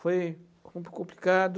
Foi um pouco complicado.